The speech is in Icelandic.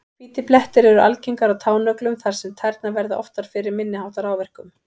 Hvítir blettir eru algengari á tánöglum þar sem tærnar verða oftar fyrir minni háttar áverkum.